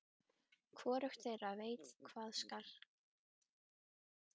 Hvorugt þeirra veit hvað segja skal.